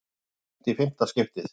Framlengt í fimmta skiptið